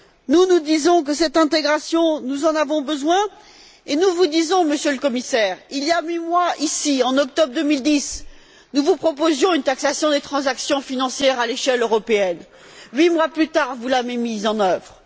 Nous, nous disons que cette intégration, nous en avons besoin. Monsieur le Commissaire, il y a huit mois, en octobre 2010, nous vous proposions ici une taxation des transactions financières à l'échelle européenne. Huit mois plus tard, vous l'avez mise en œuvre.